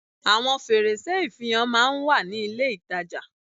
Àwon fèrèsé ìfihàn máa n wà ní ilé ìtajà